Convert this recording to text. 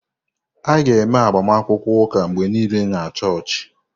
A ga-eme agbamakwụkwọ ụka mgbe niile na chọọchị.